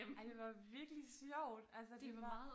Ej det var virkelig sjovt altså det var